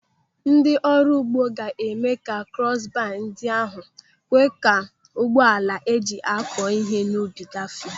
Ndị ọrụ ugbo ga-eme ka krọs baa ndị ahụ kwe ka ụgbọ ala eji akọ ihe n'ubi gafee.